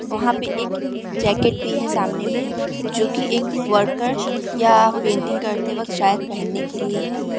वहाँ पे एक जैकेट भी है सामने में जोकी एक वर्कर या पेंटिंग करते वक्त शायद पहनने के लिए है।